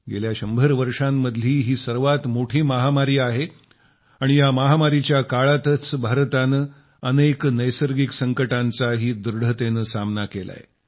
गेल्या शंभर वर्षामधली ही सर्वात मोठी महामारी आहे आणि या महामारीच्या काळातच भारतानं अनेक नैसर्गिक संकटांचाही दृढतेनं सामना केलाय